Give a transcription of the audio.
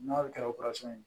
N'a kɛra ye